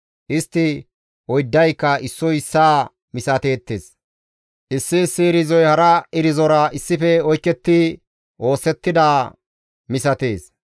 Istti oyddayka issoy issaa misateettes; issi issi irzoy hara irzora issife oyketti oosettidaa misatees.